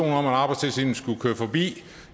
om at arbejdstilsynet skulle køre forbi